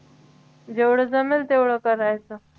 जेवढं जमेल तेवढं करायचं